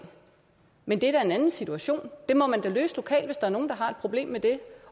men det er da en anden situation den må man da løse lokalt hvis der er nogen der har et problem med det